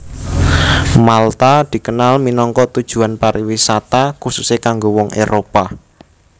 Malta dikenal minangka tujuan pariwisata khususé kanggo wong Éropah